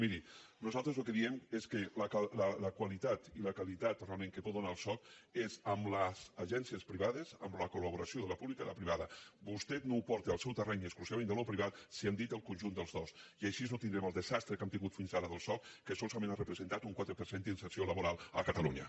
miri nosaltres el que diem és que la qualitat realment que pot donar el soc és amb les agències privades amb la colvostè no ho porta al seu terreny exclusivament d’allò privat si hem dit el conjunt dels dos i així no tindrem el desastre que hem tingut fins ara del soc que solament ha representat un quatre per cent d’inserció laboral a catalunya